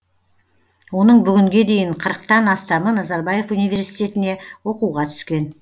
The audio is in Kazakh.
оның бүгінге дейін қырықтан астамы назарбаев университетіне оқуға түскен